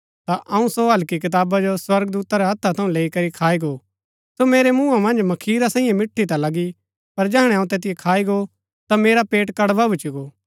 ता अऊँ सो हल्की कताबा जो स्वर्गदूता रै हत्था थऊँ लैई करी खाई गो सो मेरै मुँहा मन्ज मखीरा सांईये मिठ्ठी ता लगी पर जैहणै अऊँ तैतिओ खाई गो ता मेरा पेट कड़वा भूच्ची गो